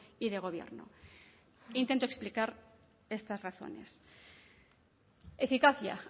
y de gobierno e intento explicar estas razones eficacia